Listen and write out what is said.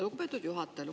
Lugupeetud juhataja!